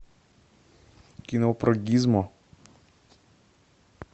кино про гизмо